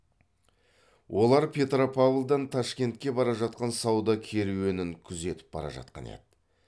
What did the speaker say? олар петропавлдан ташкентке бара жатқан сауда керуенін күзетіп бара жатқан еді